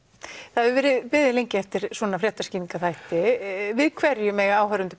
það hefur verið beðið lengi eftir svona fréttaskýringarþætti við hverju mega áhorfendur